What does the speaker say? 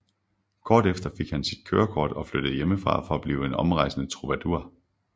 Kort efter fik han sit kørekort og flyttede hjemmefra for at blive en omrejsende troubadour